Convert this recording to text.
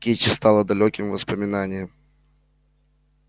кичи стала далёким воспоминанием